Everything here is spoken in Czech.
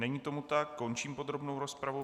Není tomu tak, končím podrobnou rozpravu.